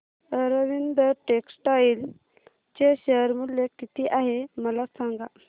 Arvind textile चे share मूल्य किती आहे मला सांगा